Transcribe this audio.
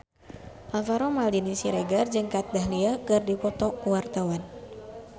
Alvaro Maldini Siregar jeung Kat Dahlia keur dipoto ku wartawan